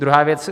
Druhá věc.